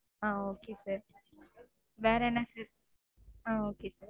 ஆஹ் okay sir ஆஹ் okay sir வேற என்ன proof